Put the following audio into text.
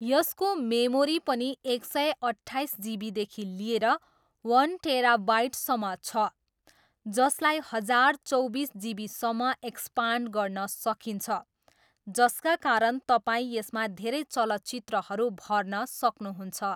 यसको मेमोरी पनि एक सय अट्ठाइस जिबीदेखि लिएर वन टेराबाइटसम्म छ जसलाई हजार चौबिस जिबीसम्म एक्सपान्ड गर्न सकिन्छ जसका कारण तपाईँ यसमा धेरै चलचित्रहरू भर्न सक्नुहुन्छ।